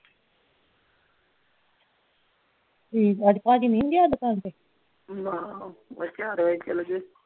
ਠੀਕ ਆ ਅੱਜ ਭਾਜੀ ਨਹੀਂ ਗਿਆ ਦੁਕਾਨ ਤੇ ਚਾਰ ਵਜੇ ਚੱਲ ਗਿਆ ਸੀ